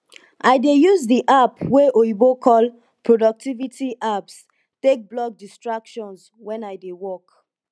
i dey use di app wey oyibo call productivity apps take block distractions wen i dey work